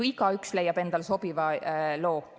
Igaüks leiab endale sobiva loo.